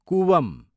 कुवम